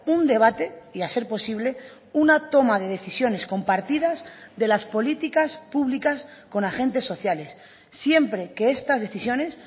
un debate y a ser posible una toma de decisiones compartidas de las políticas públicas con agentes sociales siempre que estas decisiones